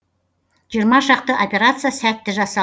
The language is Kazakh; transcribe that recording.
жиырма шақты операция сәтті жасал